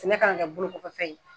Sɛnɛ kana kɛ bolo kofɛ fɛn ye.